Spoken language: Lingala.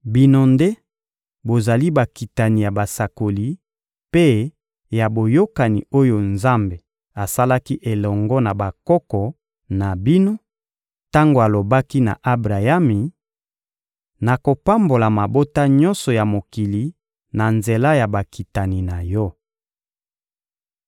Bino nde bozali bakitani ya basakoli mpe ya Boyokani oyo Nzambe asalaki elongo na bakoko na bino, tango alobaki na Abrayami: «Nakopambola mabota nyonso ya mokili na nzela ya bakitani na yo!»